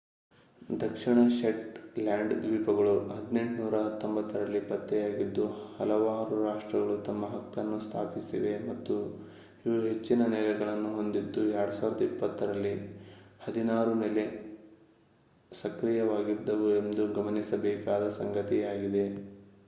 ದಕ್ಷಿಣ Shetland ದ್ವೀಪಗಳು 1819 ರಲ್ಲಿ ಪತ್ತೆಯಾಗಿದ್ದು ಹಲವಾರು ರಾಷ್ಟ್ರಗಳು ತಮ್ಮ ಹಕ್ಕನ್ನು ಸ್ಥಾಪಿಸಿವೆ ಮತ್ತು ಇವು ಹೆಚ್ಚಿನ ನೆಲೆಗಳನ್ನು ಹೊಂದಿದ್ದು 2020 ರಲ್ಲಿ ಹದಿನಾರು ನೆಲೆ ಸಕ್ರಿಯವಾಗಿದ್ದವು ಎಂಬುದು ಗಮನಿಸಬೇಕಾದ ಸಂಗತಿಯಾಗಿದೆ